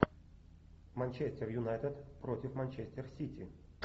манчестер юнайтед против манчестер сити